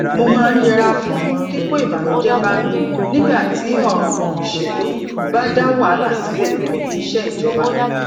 mo máa ń yẹra fún kíkó ìbànújé bá mi nígbà tí òràn ìṣèlú bá dá wàhálà sílè níbi iṣé ìjọba